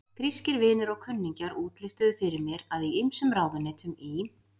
Grískir vinir og kunningjar útlistuðu fyrir mér, að í ýmsum ráðuneytum í